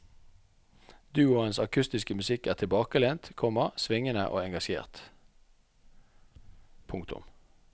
Duoens akustiske musikk er tilbakelent, komma svingende og engasjert. punktum